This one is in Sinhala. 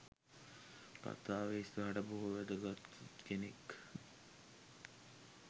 කථාවේ ඉස්සරහට බොහොම වැදගත් කෙනෙක්